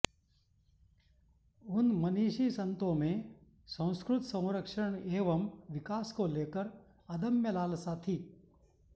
उन मनीषी संतो में संस्कृत संरक्षण एवं विकास को लेकर अदम्य लालसा थी